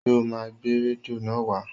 Ṣé o máa gbé rédíò náà wá?